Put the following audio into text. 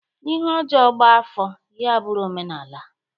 Ihe ojoo gba-afo, ya buru omenaala.